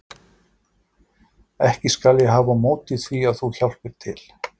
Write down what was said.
Ekki skal ég hafa á móti því að þú hjálpir til.